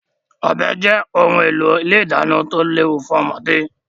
Ọ̀bẹ jẹ́ ohun èlò ilé ìdáná tí ó léwu fún ọmọdé.